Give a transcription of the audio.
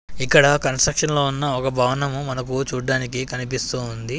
ఇక్కడ కన్స్ట్రక్షన్లో ఉన్న ఒక భవనము మనకు చూడ్డానికి కనిపిస్తూ ఉంది.